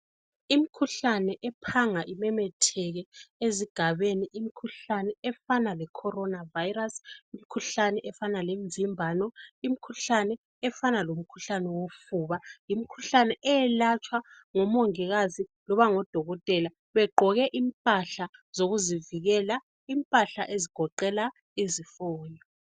Imikhuhlane ephanga imemetheke ezigabeni, imikhuhlane efana leCorona virus, imikhuhlane efana lemvimbano, imikhuhlane efana lomkhuhlane wofuba. Imikhuhlane eyelatshwa ngomongikazi loba ngodokotela begqoke impahla zokuzivikela impahla ezigoqela izifonyo.